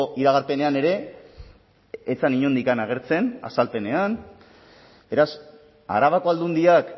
iragarpenean ere ez zen inondik agertzen azalpenean beraz arabako aldundiak